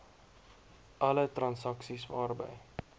alle transaksies waarby